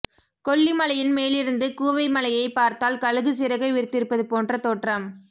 கொல்லிமலையின் மேலிருந்து கூவை மலையைப் பார்த்தால் கழுகு சிறகை விரித்திருப்பது போன்ற தோற்றம்